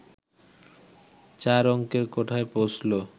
চার অংকের কোঠায় পৌঁছল